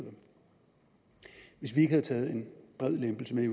hvis vi ikke havde taget en bred lempelse med i